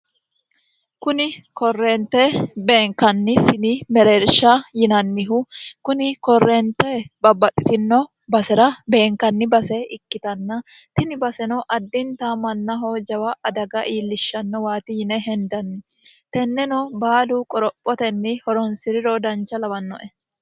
kuni korreente beenkanni sini mereersha yinannihu kuni korreente babbaxxitino basera beenkanni base ikkitanna tini baseno addinta mannaho jawa adaga iillishshanno waati yine hendanni tenneno baalu qorophotenni horonsiriro dancha lawannoe